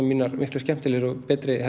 mínar miklu skemmtilegri og betri